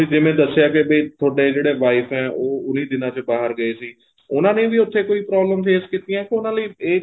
ਤੁਸੀਂ ਜਿਵੇਂ ਦੱਸਿਆ ਕੇ ਵੀ ਤੁਹਾਡੇ ਜਿਹੜੇ wife ਏ ਉਹ ਉਹਨੀ ਦਿਨਾ ਚ ਬਾਹਰ ਗਏ ਸੀ ਉਹਨਾ ਨੇ ਵੀ ਉੱਥੇ ਕੋਈ problem face ਕੀਤੀ ਏ ਕੇ ਉਹਨਾ ਲਈ ਏ